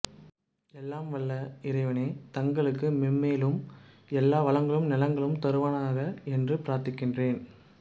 எல்லாம் வல்ல இறைவன் தங்களுக்கு மென்மேலும் எல்லா வளங்களும் நலன்களும் தருவானாக என்று பிரார்த்திக்கிறேன்